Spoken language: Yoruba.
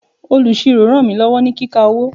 Olusiro ràn mí lọ́wọ́ ní kíka owó.